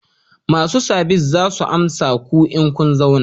Masu sabis za su amsa ku in kun zauna